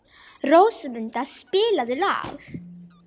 Rósmunda, spilaðu lag.